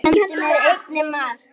Hún kenndi mér einnig margt.